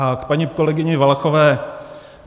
A k paní kolegyni Valachové.